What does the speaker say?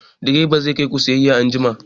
Direba zai kai ku sayayya anjima!